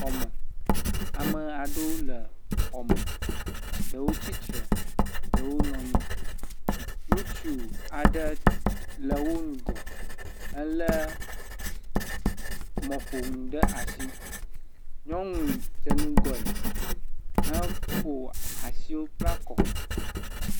Xɔ me. Ame aɖewo le xɔ me. Ɖewo tsitre, ɖewo nɔ anyi. Ŋutsu aɖe le wo ŋgɔ hele mɔƒonu ɖe asi. Nyɔnu dze ŋgɔe heƒo asiwo kpla kɔ.